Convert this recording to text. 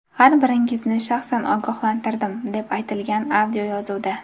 Har biringizni shaxsan ogohlantirdim”, deb aytilgan audioyozuvda.